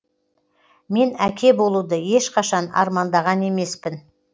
мен әке болуды ешқашан армандаған емеспін